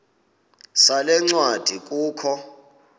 sale ncwadi kukho